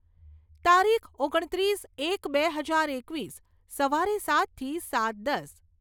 તારીખ, ઓગણત્રીસ એક બે હજાર એકવીસ. સવારે સાતથી સાત દસ